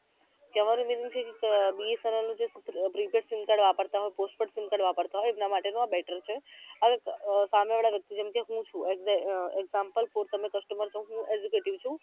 કહેવાનો meaning છે કે અમ BSNL નું જે prepaid sim card વાપરતા હોય postpaid sim card વાપરતા હોય એમના માટેનું આ better છે હવે સામે વાળા વ્યક્તિ જેમ કે હું છુ અમ example પુર તમે customer છો હું executive છુ